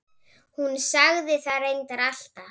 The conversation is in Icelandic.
Hún sagði það reyndar alltaf.